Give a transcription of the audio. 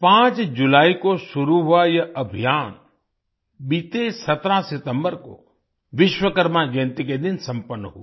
5 जुलाई को शुरू हुआ यह अभियान बीते 17 सितम्बर को विश्वकर्मा जयंती के दिन संपन्न हुआ